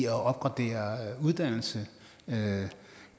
at opgradere uddannelse og